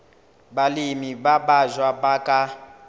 balemi ba batjha ba ka